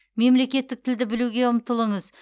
мемлекеттік тілді білуге ұмтылыңыз